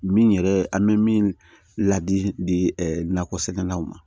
Min yɛrɛ an bɛ min ladi di nakɔsɛnɛlaw ma